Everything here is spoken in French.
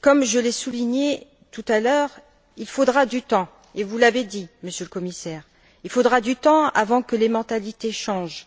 Comme je l'ai souligné tout à l'heure, il faudra du temps, et vous l'avez dit, Monsieur le Commissaire, il faudra du temps avant que les mentalités changent,